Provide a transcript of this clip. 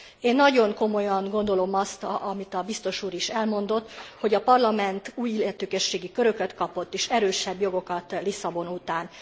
Én nagyon komolyan gondolom azt, amit a biztos úr is elmondott, hogy a Parlament új illetékességi köröket kapott és erősebb jogokat Lisszabon után.